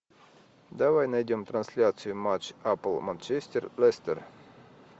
давай найдем трансляцию матч апл манчестер лестер